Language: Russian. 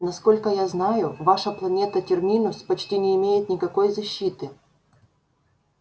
насколько я знаю ваша планета терминус почти не имеет никакой защиты